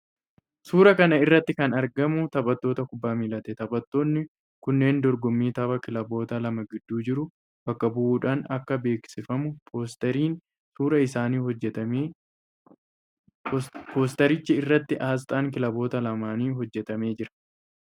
Suuraa kana irratti kan argamu taphattoota kubbaa miilaati. Taphattoonni kunneen dorgommii taphaa kilaboota lama gidduu jiru bakka bu'uudhaan akka beeksifamuuf poosteriin suuraa isaaniin hojjetame. Poostericha irratti aasxaan kilaboota lamaanii hojjetamee jira.